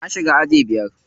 Na shiga aji biyar.